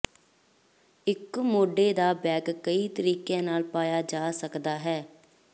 ਇੱਕ ਮੋਢੇ ਦਾ ਬੈਗ ਕਈ ਤਰੀਕਿਆਂ ਨਾਲ ਪਾਇਆ ਜਾ ਸਕਦਾ ਹੈ